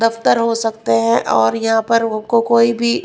दफ्तर हो सकते हैं और यहां पर उनको कोई भी--